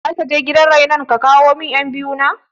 Zakaje gidan rainon ka kawo min ƴan biyu na?